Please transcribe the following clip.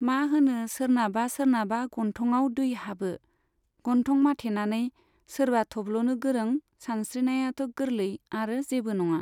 मा होनो सोरनाबा सोरनाबा गन्थङाव दै हाबो। गन्थं माथेनानै, सोरबा थब्ल'नो गोरों, सानस्रिनायाथ' गोरलै आरो जेबो नङा।